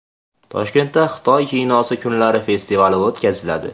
Toshkentda Xitoy kinosi kunlari festivali o‘tkaziladi.